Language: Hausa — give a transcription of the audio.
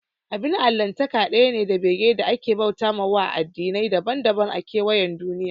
Abin Allahntaka da bege ɗaya ne da ake bauta wa a addinai daban daban a kewayen duniya